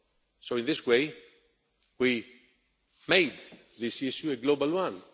York. So in this way, we made this issue a global